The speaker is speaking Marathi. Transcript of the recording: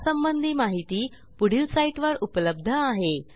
यासंबंधी माहिती पुढील साईटवर उपलब्ध आहे